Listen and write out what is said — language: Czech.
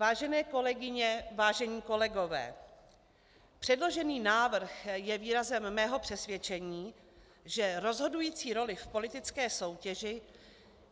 Vážené kolegyně, vážení kolegové, předložený návrh je výrazem mého přesvědčení, že rozhodující roli v politické soutěži